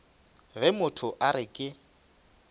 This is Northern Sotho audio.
ge motho a re ke